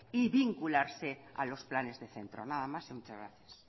y vincularse a los planes de centro nada más muchas gracias